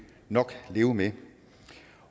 nok leve med